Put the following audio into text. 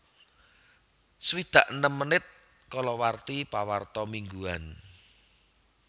swidak enem menit kalawarti pawarta mingguan